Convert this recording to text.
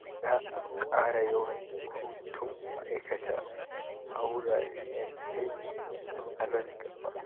Za a ƙara yawan hutun ma'aikata a wuraren aiki a nan gaba.